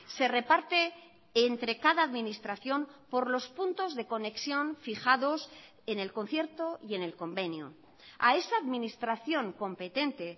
se reparte entre cada administración por los puntos de conexión fijados en el concierto y en el convenio a esa administración competente